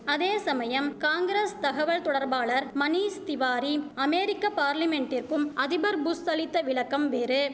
அதேசமயம் காங்கிரஸ் தகவல் தொடர்பாளர் மணீஷ்திவாரி அமேரிக்க பார்லிமென்ட்டிற்கும் அதிபர் புஷ் அளித்த விளக்கம் வேறு